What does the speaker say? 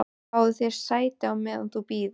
Fáðu þér sæti, meðan þú bíður